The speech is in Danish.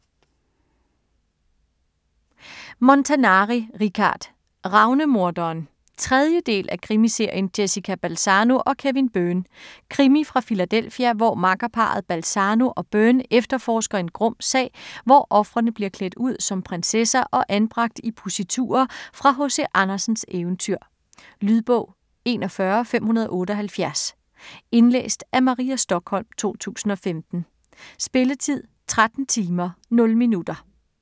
Montanari, Richard: Ravnemoderen 3. del af krimiserien Jessica Balzano & Kevin Byrne. Krimi fra Philadelphia, hvor makkerparret Balzano og Byrne efterforsker en grum sag, hvor ofrene bliver klædt ud som prinsesser og anbragt i positurer fra H.C. Andersens eventyr. Lydbog 41578 Indlæst af Maria Stokholm, 2015. Spilletid: 13 timer, 0 minutter.